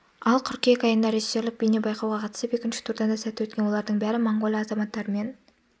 ал қыркүйек айында режиссерлік бейне байқауға қатысып екінші турдан да сәтті өткен олардың бәрі моңғолия азаматтарымен